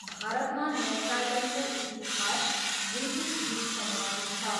भारतमा नौकायनको इतिहास ब्रिटिस युगसम्म पुग्छ।